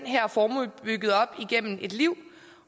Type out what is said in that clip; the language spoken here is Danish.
her formue bygget op igennem et liv